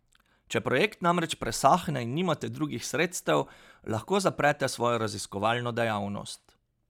Če projekt namreč presahne in nimate drugih sredstev, lahko zaprete svojo raziskovalno dejavnost.